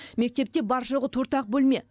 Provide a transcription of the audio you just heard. мектепте бар жоғы төрт ақ бөлме